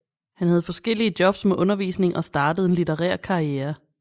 Han havde forskellige jobs med undervisning og startede en litterær karriere